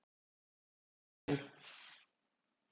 Sæunn